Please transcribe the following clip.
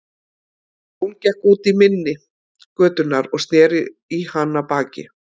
Jón gekk út í mynni götunnar og sneri í hana baki.